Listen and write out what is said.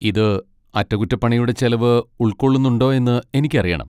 ഇത് അറ്റകുറ്റപ്പണിയുടെ ചെലവ് ഉൾക്കൊള്ളുന്നുണ്ടോയെന്ന് എനിക്കറിയണം.